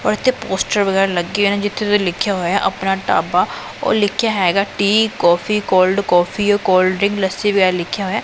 ਔਰ ਇੱਥੇ ਪੋਸਟਰ ਵਗੈਰਾ ਲੱਗੇ ਦੇ ਨੇ ਜਿੱਥੇ ਲਿਖਿਆ ਹੋਇਆ ਆਪਣਾ ਢਾਬਾ ਉਹ ਲਿਖਿਆ ਹੈਗਾ tea coffee cold coffee cold drink lassi ਵਗੈਰਾ ਲਿਖਿਆ ਹੋਇਐ।